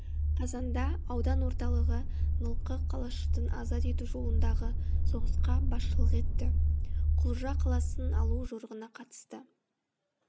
қазанда аудан орталыты нылқы қалашытын азат ету жолындаты соғысқа басшылық етті құлжа қаласын алу жорығына қатысты